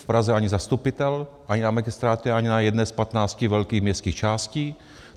V Praze ani zastupitel, ani na magistrátu, ani na jedné z 15 velkých městských částí.